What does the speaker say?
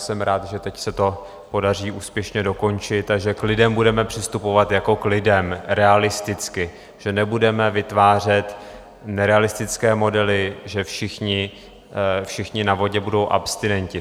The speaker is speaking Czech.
Jsem rád, že teď se to podaří úspěšně dokončit a že k lidem budeme přistupovat jako k lidem, realisticky, že nebudeme vytvářet nerealistické modely, že všichni na vodě budou abstinenti.